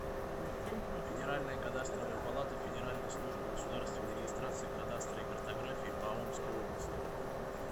федеральная кадастровая палата федеральной службы государственной регистрации кадастра и картографии по омской области